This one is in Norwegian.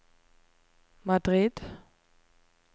Madrid